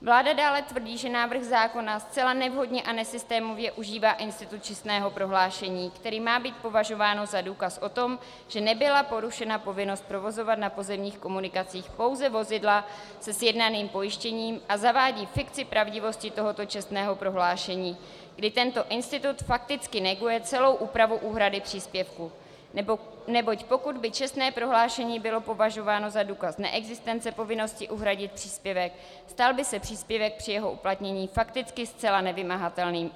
Vláda dále tvrdí, že návrh zákona zcela nevhodně a nesystémově užívá institut čestného prohlášení, které má být považováno za důkaz o tom, že nebyla porušena povinnost provozovat na pozemních komunikacích pouze vozidla se sjednaným pojištěním, a zavádí fikci pravdivosti tohoto čestného prohlášení, kdy tento institut fakticky neguje celou úpravu úhrady příspěvku, neboť pokud by čestné prohlášení bylo považováno za důkaz neexistence povinnosti uhradit příspěvek, stal by se příspěvek při jeho uplatnění fakticky zcela nevymahatelným.